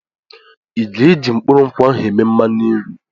I ga-eji mkpụrụ nkwụ ahụ eme mmanụ nri?